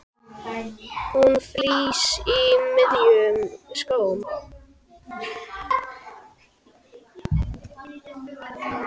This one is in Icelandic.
Hún frýs í miðjum smók.